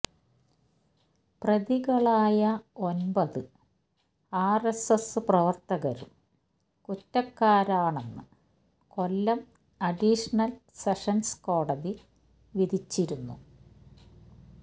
പ്രതികളായ ഒമ്പത് ആര്എസ്എസ് പ്രവര്ത്തകരും കുറ്റക്കാരാണെന്ന് കൊല്ലം അഡീഷണൽ സെഷൻസ് കോടതി വിധിച്ചിരുന്നു